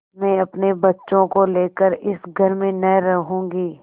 मैं अपने बच्चों को लेकर इस घर में न रहूँगी